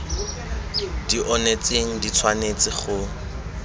di onetseng di tshwanetse go